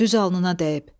Düz alnına dəyib.